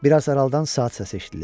Bir az aralıdan saat səsi eşidilir.